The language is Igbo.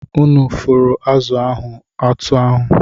Unu fụrụ azụ̀ ahụ otú ahụ!